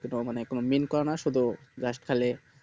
কোথাও কোনো mean করে না শুধু just খালি